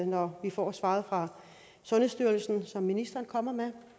når vi får svaret fra sundhedsstyrelsen når ministeren kommer med